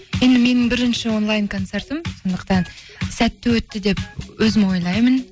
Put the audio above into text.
енді менің бірінші онлайн концертім сондықтан сәтті өтті деп өзім ойлаймын